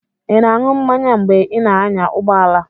Ị na-aṅụ mmanya mgbe ị na-anya ụgbọ ala?